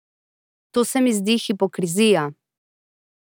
To se mi zdi hipokrizija.